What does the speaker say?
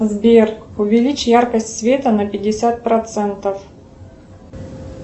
сбер увеличь яркость света на пятьдесят процентов